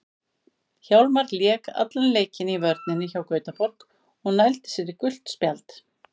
Hjálmar lék allan leikinn í vörninni hjá Gautaborg og nældi sér í gult spjald.